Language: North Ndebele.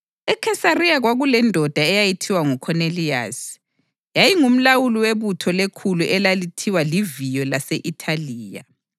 EKhesariya kwakulendoda eyayithiwa nguKhoneliyasi, yayingumlawuli webutho lekhulu elalithiwa liViyo lase-Ithaliya.